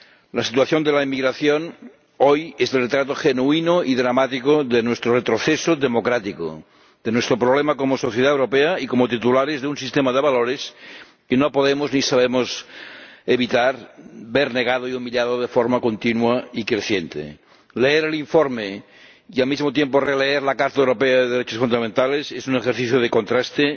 La situación de la inmigración, hoy, es el retrato genuino y dramático de nuestro retroceso democrático, de nuestro problema como sociedad europea y como titulares de un sistema de valores que no podemos ni sabemos evitar que se vea negado y humillado de forma continua y creciente. Leer el informe y al mismo tiempo releer la Carta Europea de los Derechos Fundamentales es un ejercicio de contraste